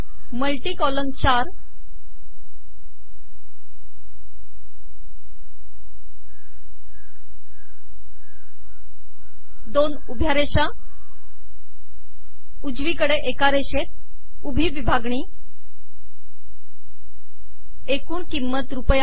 multi column चार दोन उभ्या रेषा उजवीकडे एका रेषेत उभी विभागणी एकूण किंमत रुपयांमध्ये